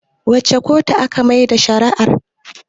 wace kotu aka Maida shari'a r?